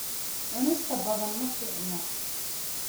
Cunista badan ma fiicna.